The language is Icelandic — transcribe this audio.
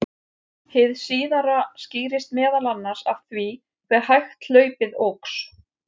Hið síðara skýrist meðal annars af því hve hægt hlaupið óx.